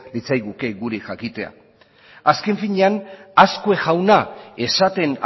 litzaiguke guri jakitea azken finean azkue jauna esaten